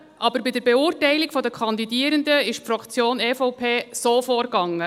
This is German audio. Aber bei der Beurteilung der Kandidierenden ging die Fraktion EVP so vor: